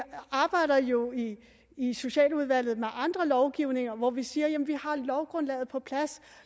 arbejder jo i i socialudvalget med andre lovgivninger reforem hvor vi siger jamen vi har lovgrundlaget på plads